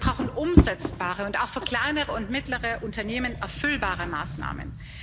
Wir brauchen umsetzbare und auch für kleinere und mittlere Unternehmen erfüllbare Maßnahmen.